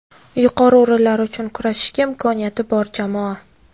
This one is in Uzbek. Yuqori o‘rinlar uchun kurashishga imkoniyati bor jamoa.